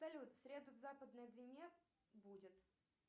салют в среду в западной двине будет